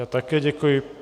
Já také děkuji.